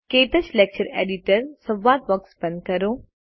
ક્ટચ lecture editor સંવાદ box બંધ કરો